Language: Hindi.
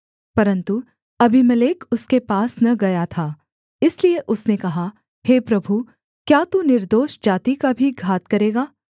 परन्तु अबीमेलेक उसके पास न गया था इसलिए उसने कहा हे प्रभु क्या तू निर्दोष जाति का भी घात करेगा